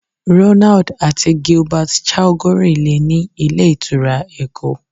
Ronald àti Gilbert Chagoury lo ni ilé ìtura Èkó.